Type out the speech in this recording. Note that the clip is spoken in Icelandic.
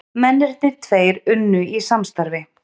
Mennirnir tveir unnu í samstarfi